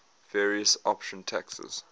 various option taxes